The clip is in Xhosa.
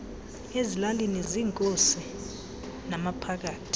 ezilalini ziinkosi namaphakathi